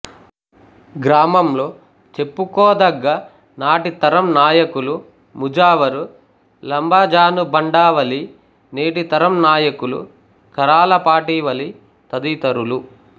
గ్రామంలో చెప్పుకోదగ్గ నాటి తరం నాయకులు ముజావరు లంబజానుబండా వలి నేటి తరం నాయకులు కరాలపాటి వలి తదితరులు